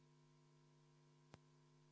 Peeter Ernits, kas teil oli käsi püsti?